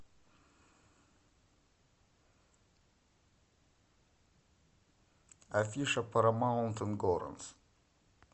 афиша парамаунт ингоранс